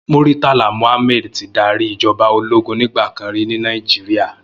Murtala Muhammad ti dàrí ijòbá ólógùn nigbàkán ri ni Nàijiriá